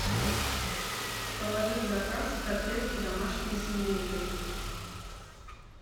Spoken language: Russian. положи в заказ котлетки домашние с индейкой